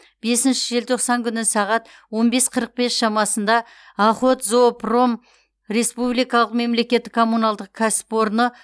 бесінші желтоқсан күні сағат он бес қырық бес шамасында охотзоопром республикалық мемлекеттік коммуналдық кәсіпорны